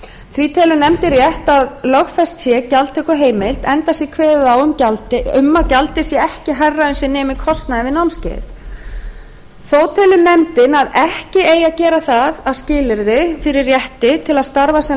því telur nefndin rétt að lögfest sé gjaldtökuheimild enda sé kveðið á um að gjaldið sé ekki hærra en sem nemur kostnaði við námskeiðið þó telur nefndin að ekki eigi að gera það að skilyrði fyrir rétti til að starfa sem